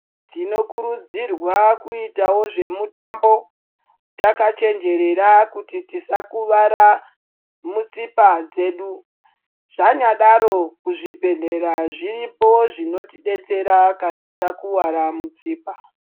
Tinokurudzirwa kuitawo zvemutambo takachenjerera kuti tisakuvara mutsipa dzedu. Zvanyadaro kuzvibhedhlera zviripo zvinotidetsera kana takuwara mutsipa.